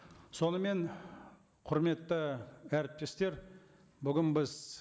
сонымен құрметті әріптестер бүгін біз